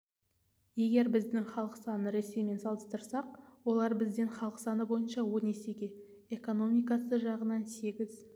егер біздің халық санын ресеймен салыстырсақ олар бізден халық саны бойынша он есеге экономикасы жағынан сегіз